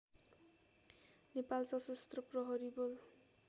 नेपाल सशस्त्र प्रहरी बल